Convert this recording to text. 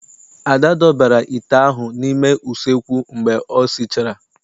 Ada dọbara ite ahụ n'ime useekwu mgbe o sichara nri.